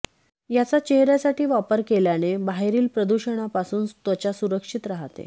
याचा चेहऱ्यासाठी वापर केल्याने बाहेरील प्रदुषाणापासून त्वचा सुरक्षित राहते